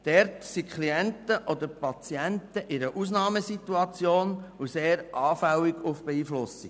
Dort sind die Klienten oder Patienten in einer Ausnahmesituation und sehr anfällig für Beeinflussung.